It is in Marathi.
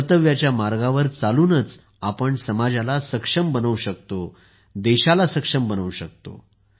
कर्तव्याच्या मार्गावर चालूनच आपण समाजाला सक्षम बनवू शकतो देशाला सक्षम बनवू शकतो